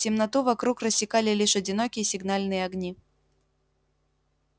темноту вокруг рассекали лишь одинокие сигнальные огни